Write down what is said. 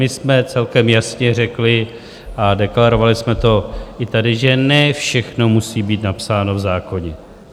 My jsme celkem jasně řekli, a deklarovali jsme to i tady, že ne všechno musí být napsáno v zákoně.